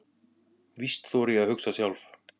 Víst þori ég að hugsa sjálf.